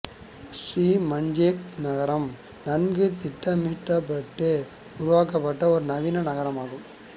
Sri Manjung நகரம் நன்கு திட்டமிட்டப் பட்டு உருவாக்கப் பட்ட ஒரு நவீன நகரமாகும்